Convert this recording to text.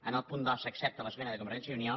en el punt dos s’accepta l’esmena de convergència i unió